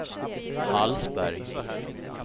Hallsberg